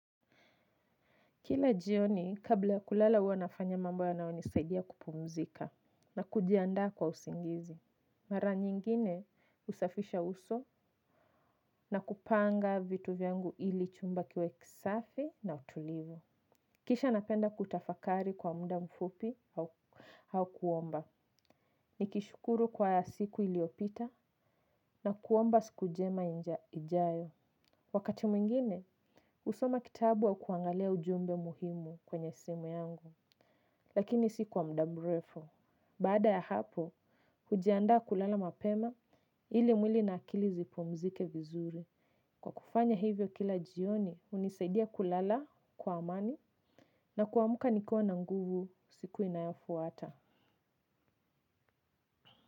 Kila jioni, kabla kulala huwa nafanya mambo ya nayonisaidia kupumzika na kujiandaa kwa usingizi. Mara nyingine husafisha uso na kupanga vitu vyangu ili chumba kiwe kisafi na utulivu. Kisha napenda kutafakari kwa muda mfupi au kuomba. Ni kishukuru kwa ya siku iliopita na kuomba sikunjema ijayo. Wakati mwingine, husoma kitabu au kuangalia ujumbe muhimu kwenye simu yangu. Lakini si kwa muda mrefu. Bada ya hapo, hujiandaa kulala mapema ili mwili na akili zipumzike vizuri. Kwa kufanya hivyo kila jioni, hunisaidia kulala kwa amani na kuamka nikiwa na nguvu siku inayofuata.